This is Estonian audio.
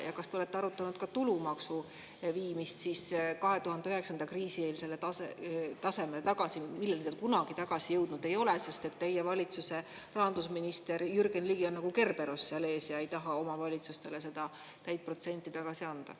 Ja kas te olete arutanud ka tulumaksu viimist 2009. aasta, kriisieelsele tasemele tagasi, milleni ta kunagi tagasi jõudnud ei ole, sest teie valitsuse rahandusminister Jürgen Ligi on nagu Kerberos seal ees ega taha omavalitsustele seda protsenti tagasi anda.